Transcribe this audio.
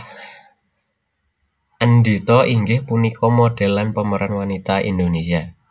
Endhita inggih punika modèl lan pemeran wanita Indonesia